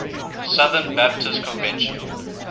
southern baptist convention